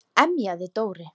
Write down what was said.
emjaði Dóri.